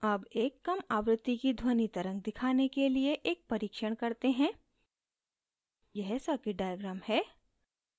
अब एक कम आवृत्ति की ध्वनि तरंग दिखाने के लिए एक परिक्षण करते हैं यह circuit diagram है